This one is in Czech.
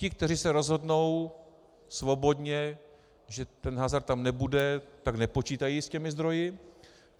Ti, kteří se rozhodnou svobodně, že ten hazard tam nebude, tak nepočítají s těmi zdroji.